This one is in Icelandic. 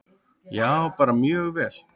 Já, bara mjög vel.